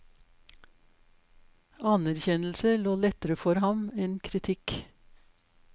Anerkjennelse lå lettere for ham enn kritikk.